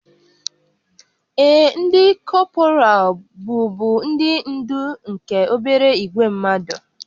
Ee, ndị kọpral bụbu ndị ndú nke obere ìgwè mmadụ